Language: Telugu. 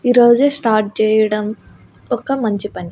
ఈరోజు స్టార్ట్ చేయడం ఒక మంచి పని.